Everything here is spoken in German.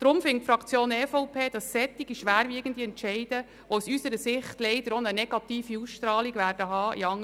Deshalb findet die EVP-Fraktion, dass ein solch schwerwiegender Entscheid dem Volk zur Abstimmung vorgelegt werden soll.